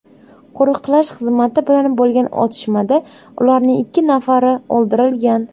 Qo‘riqlash xizmati bilan bo‘lgan otishmada ularning ikki nafari o‘ldirilgan.